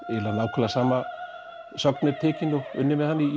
nákvæmlega sama sögn er tekin og unnið með hana í